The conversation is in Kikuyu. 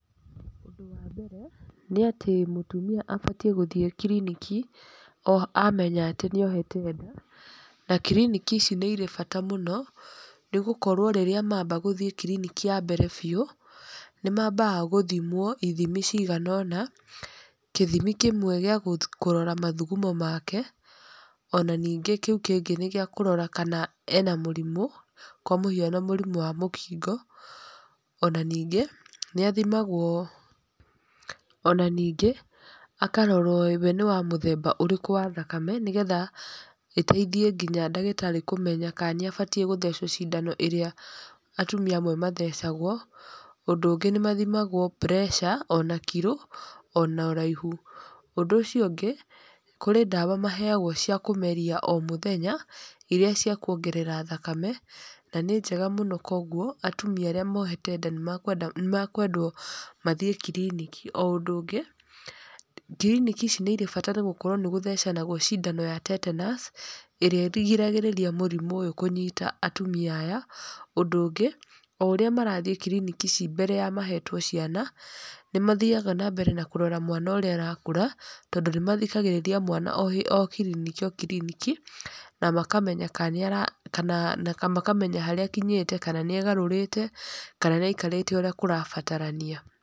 Ũndũ wa mbere, nĩ atĩ mũtumia abatiĩ gũthiĩ kiriniki o, amenya atĩ nĩ ohete nda na kiriniki ici nĩ irĩ bata mũno nĩ gũkorwo rĩrĩa mamba gũthiĩ kiriniki ya mbere biũ nĩ mambga gũthimwo ithimi cigana ona, kĩthimi kĩmwe gĩ kũrora mathugumo make ona ningĩ kiu kĩngĩ nĩ gĩa kũrora kana ena mũrimũ, kwa mũhiano mũrimũ wa mũkingo, ona ningĩ nĩ athimagwo, ona ningĩ akarorwo we nĩ wa mũthemba ũrĩkũ wa thakame nĩ getha ĩteithie ngĩnya ndagĩtarĩ kũmenya kana nĩ abataĩ gũthecwo cindano ĩrĩa atumia amwe mathecagwo. Ũndũ ũngĩ nĩ mathimagwo pressure, ona kiro ona ũraihu. Ũndũ ũcio ũngĩ, kũrĩ ndawa maheagwo cia kũmeria o mũthenya iria cia kuongerera thakame na nĩ njega mũno kũoguo atumia arĩa mohete nda nĩ mekwendwo mathiĩ kiriniki. O ũndũ ũngĩ kiriniki ici nĩ irĩ bata nĩ gũkorwo nĩ gũthecanagwo cindano ya tetenaci ĩrĩa ĩrigagĩrĩria mũrimũ ũyũ kũnyita atumia aya. Ũndũ ũngĩ, o ũrĩa marathiĩ kiriniki ici mbere ya mahetwo ciana, nĩ mathiaga na mbere na kũrora mwana ũrĩa arakũra tondũ nĩ mathikagĩrĩria mwana o kiriniki o kiriniki na makamenya kana nĩ ara na makamenya harĩa akinyĩte kana nĩ egarũrĩte kana nĩ aikarĩte ũrĩa kũrabatarania.